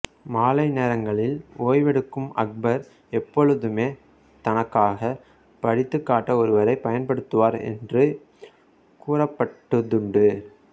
மாலை நேரங்களில் ஓய்வெடுக்கும் அக்பர் எப்பொழுதுமே தனக்காக படித்துக் காட்ட ஒருவரை பயன்படுத்துவார் என்று கூறப்பட்டதுண்டு